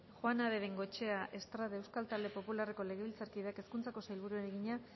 juana de bengoechea estrade euskal talde popularreko legebiltzarkideak hezkuntzako sailburuari egina